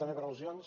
també per al·lusions